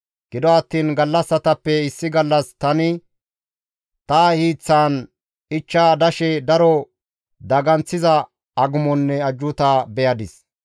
Gido attiin gallassatappe issi gallas tani ta hiiththan ichcha dashe daro daganththiza agumonne ajjuuta beyadis.